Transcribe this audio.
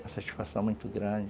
Uma satisfação muito grande.